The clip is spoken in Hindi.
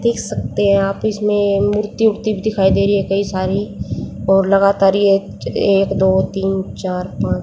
देख सकते हैं आप इसमें मूर्ति वुर्ती भी दिखाई दे रही कई सारी और लगातार ये एक दो तीन चार पांच--